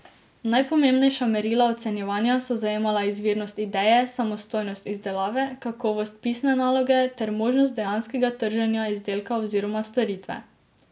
Najpomembnejša merila ocenjevanja so zajemala izvirnost ideje, samostojnost izdelave, kakovost pisne naloge ter možnost dejanskega trženja izdelka oziroma storitve.